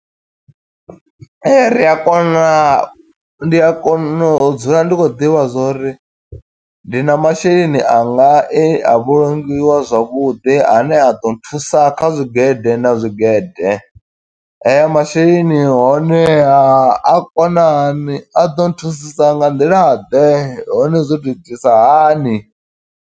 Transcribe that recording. Ee, ri a kona, ndi a kona u dzula ndi khou ḓivha zwo uri ndi na masheleni anga e a vhulungiwa zwavhuḓi. Ane a ḓo thusa kha zwigede na zwiigede. Aya masheleni honeha, a kona hani, a ḓo nthusisa nga nḓila ḓe, hone zwo to itisa hani.